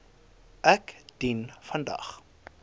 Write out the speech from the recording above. ek dien vandag